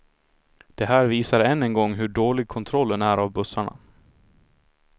Det här visar än en gång hur dålig kontrollen är av bussarna.